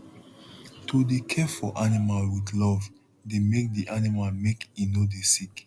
to dey care for animal with love dey make di animal make e no dey sick